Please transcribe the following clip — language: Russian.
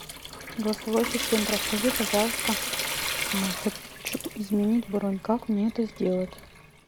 голосовой ассистент расскажи пожалуйста хочу изменить бронь как мне это сделать